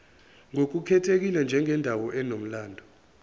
ngokukhethekile njengendawo enomlando